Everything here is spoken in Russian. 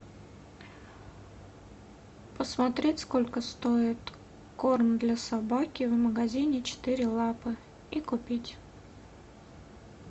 посмотреть сколько стоит корм для собаки в магазине четыре лапы и купить